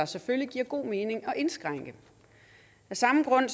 selvfølgelig giver god mening at indskrænke af samme grund